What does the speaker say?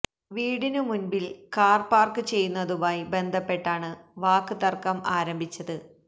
വീടിന് മുന്പില് car park ചെയ്യുന്നതുമായി ബന്ധപ്പെട്ടാണ് വാക്ക് തര്ക്കം ആരംഭിച്ചത്